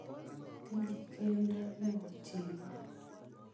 Tinye keldo neo chebon